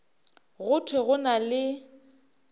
go thwe go na le